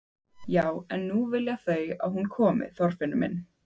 Já en nú vilja þau að hún komi, Þorfinnur minn.